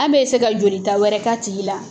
An bɛ ka jolita wɛrɛ k'a tigi la.